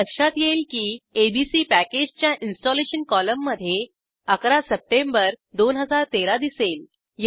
आपल्या लक्षात येईल की एबीसी पॅकेजच्या इंस्टॉलेशन कॉलममध्ये 11 सप्टेंबर 2013 दिसेल